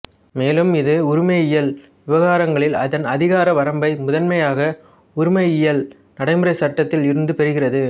மேலும் இது உரிமையியல் விவகாரங்களில் அதன் அதிகார வரம்பை முதன்மையாக உரிமையியல் நடைமுறை சட்டத்தில் இருந்து பெறுகிறது